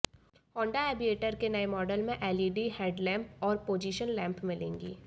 Honda Aviator के नए model में एलईडी हेडलैम्प और पोजिशन लैम्प मिलेंगी